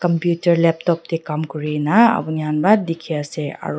computer laptop tae kam kurina apni khan pa dikhiase aro